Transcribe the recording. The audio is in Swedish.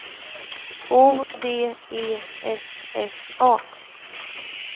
O D E S S A